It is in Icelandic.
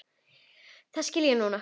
Það skil ég núna.